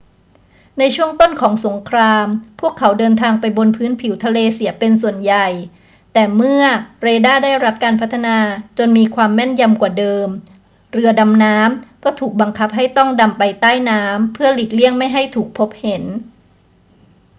ในช่วงต้นของสงคราม พวกเขาเดินทางไปบนพื้นผิวทะเลเสียเป็นส่วนใหญ่ แต่เมื่อเรดาร์ได้รับการพัฒนาจนมีความแม่นยำกว่าเดิม เรือดำน้ำก็ถูกบังคับให้ต้องดำไปใต้น้ำเพื่อหลีกเลี่ยงไม่ให้ถูกพบเห็น